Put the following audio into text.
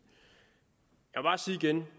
igen